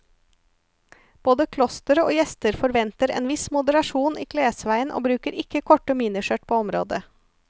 Både klosteret og gjester forventer en viss moderasjon i klesveien og bruker ikke korte miniskjørt på området.